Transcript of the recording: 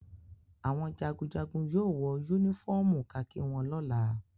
Àwọn jagunjagun yóò wọ únífọ́ọ́mù kakí wọn lọ́la.